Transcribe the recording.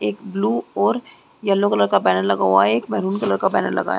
एक ब्लू और yellow colour का बैनर लगा हुआ है एक मैरून कलर का बैनर लगा है।